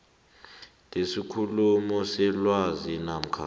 lesikhulu selwazi namkha